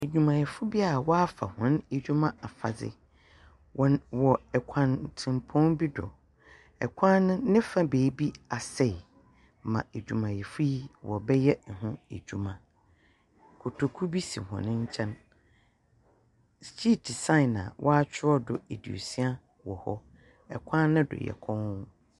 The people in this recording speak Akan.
Edwumayɛfo bi a wɔafa hɔn edwuma afadze. Wɔn wɔ kwantsempɔn bi do. Kwan no ne fa beebi asɛe ma edwumayɛfo yi wɔrebɛyɛ ho edwuma. Kotoku bi hɔn nkyɛn. Hyiiti sign a wɔakyerɛw do aduosia wɔ hɔ. Kwa no do yɛ komm.